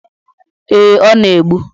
Ee, ọ na-egbu.